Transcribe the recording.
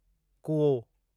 कूओ